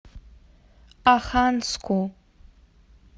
оханску